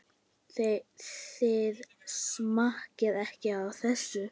Þið smakkið ekki á þessu!